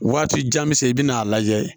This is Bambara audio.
Waati jan bɛ se i bɛ n'a lajɛ